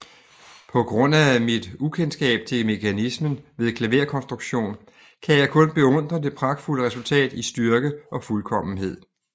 På grund af mit ukendskab til mekanismen ved klaverkonstruktion kan jeg kun beundre det pragtfulde resultat i styrke og fuldkommenhed